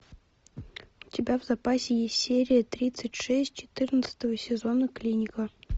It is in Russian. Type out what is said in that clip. у тебя в запасе есть серия тридцать шесть четырнадцатого сезона клиника